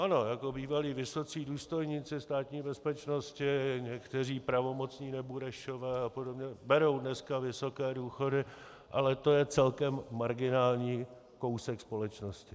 Ano, jako bývalí vysocí důstojníci Státní bezpečnosti někteří pravomocní Neburešové a podobně berou dneska vysoké důchody, ale to je celkem marginální kousek společnosti.